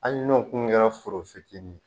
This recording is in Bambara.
Ali n'o kun kɛra foro fitiini ye.